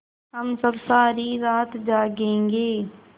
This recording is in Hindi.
हम सब सारी रात जागेंगे